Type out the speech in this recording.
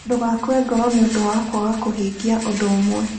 Ndũgakue ngoro nĩ ũndũ wa kwaga kũhingia ũndũ ũmwe.